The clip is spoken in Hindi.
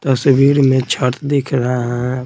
तस्वीर में चार्ट छत दिख रहा है।